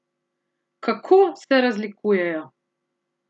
Kako se razlikujejo?